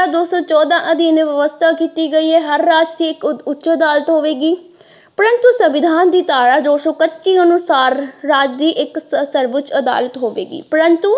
ਦੋ ਸੋ ਚੌਦਾਂ ਅਧੀਨ ਵਿਵਸਥਾ ਕੀਤੀ ਗਈ ਹੈ ਹਰ ਰਾਜ ਵਿੱਚ ਇੱਕ ਉੱਚ ਅਦਾਲਤ ਹੋਵੇਗੀ ਪਰੰਤੂ ਸੰਵਿਧਾਨ ਦੀ ਧਾਰਾ ਦੋ ਸੋ ਪੱਚੀ ਅਨੁਸਾਰ ਰਾਜ ਦੀ ਇੱਕ ਸਰਵੋੱਚ ਅਦਾਲਤ ਹੋਵੇਗੀ ਪਰੰਤੂ।